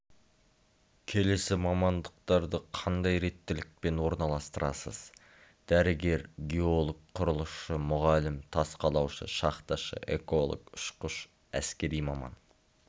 келесі мамандықтарды қандай реттілікпен орналастырасыз дәрігер геолог құрылысшы мұғалім тас қалаушы шахташы эколог ұшқыш әскери маман